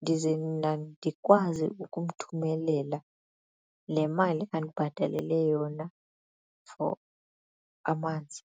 ndize mna ndikwazi ukumthumelela le mali andibhatalele yona for amanzi.